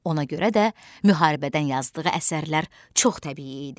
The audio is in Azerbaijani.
Ona görə də müharibədən yazdığı əsərlər çox təbii idi.